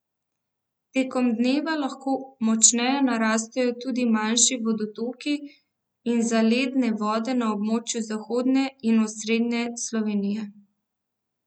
Tekom dneva lahko močneje narastejo tudi manjši vodotoki in zaledne vode na območju zahodne in osrednje Slovenije.